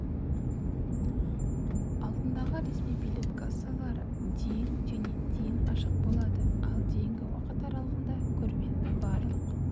алдындағы ресми билет кассалары дейін және дейін ашық болады ал дейінгі уақыт аралығында көрменің барлық